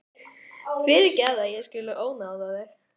Fyrirgefðu að ég skuli vera að ónáða þig.